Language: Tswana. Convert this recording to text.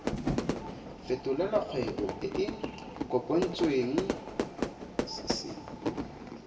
fetolela kgwebo e e kopetswengcc